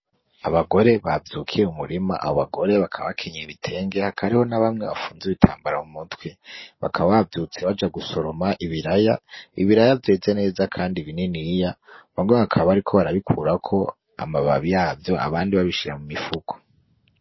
Abagore bavyukiye mu murima abo bagore bakaba bakenyeye ibitenge hakaba hariho nabamwe bafunze ibitambara mu mutwe. Bakaba bavyutse baja gusoroma ibiraya, ibiraya vyeze neza kandi bininiya bamwe bakaba bariko barabikurako amababi yavyo abandi babishira mumifuko.